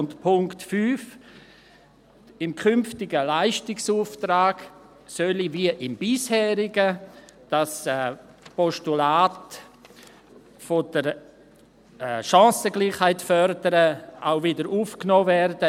Und zu Punkt 5: Im künftigen Leistungsauftrag solle wie im bisherigen das Postulat, Chancengleichheit zu fördern, auch wiederaufgenommen werden;